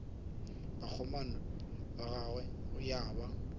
bakgomana ba gagwe ya ba